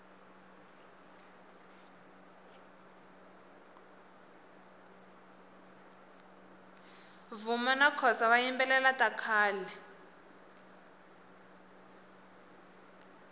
vuma nakhosa vayimbelela takhale